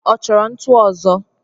Ọ chọro ntu ozo?